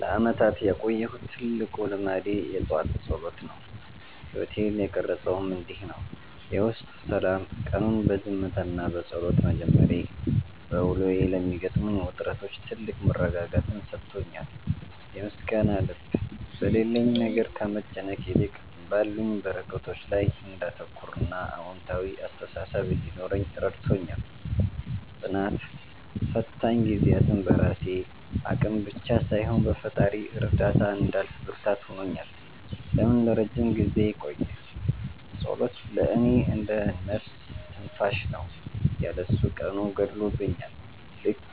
ለዓመታት ያቆየሁት ትልቁ ልማዴ የጠዋት ጸሎት ነው። ሕይወቴን የቀረፀውም እንዲህ ነው፦ የውስጥ ሰላም፦ ቀኑን በዝምታና በጸሎት መጀመሬ፣ በውሎዬ ለሚገጥሙኝ ውጥረቶች ትልቅ መረጋጋትን ሰጥቶኛል። የምስጋና ልብ፦ በሌለኝ ነገር ከመጨነቅ ይልቅ ባሉኝ በረከቶች ላይ እንዳተኩርና አዎንታዊ አስተሳሰብ እንዲኖረኝ ረድቶኛል። ጽናት፦ ፈታኝ ጊዜያትን በራሴ አቅም ብቻ ሳይሆን በፈጣሪ እርዳታ እንዳልፍ ብርታት ሆኖኛል። ለምን ለረጅም ጊዜ ቆየ? ጸሎት ለእኔ እንደ "ነፍስ ትንፋሽ" ነው። ያለ እሱ ቀኑ ጎድሎብኛል፤ ልክ